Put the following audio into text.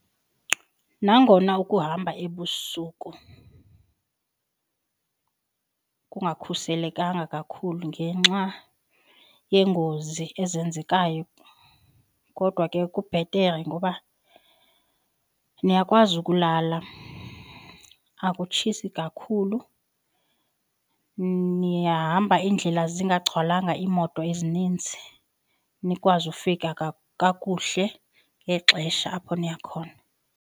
Nangona ukuhamba ebusuku kungakhuselekanga kakhulu ngenxa yeengozi ezenzekayo kodwa ke kubhetere ngoba niyakwazi ukulala. Akutshisi kakhulu, nihamba iindlela zingagcwalanga iimoto ezininzi nikwazi ufika kakuhle ngexesha apho niya khona.